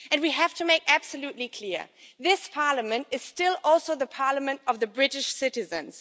And we have to make absolutely clear this Parliament is still also the parliament of the British citizens.